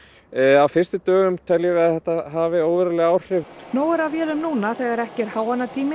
á fyrstu dögum teljum við að þetta hafi óveruleg áhrif nóg er af vélum núna þegar ekki er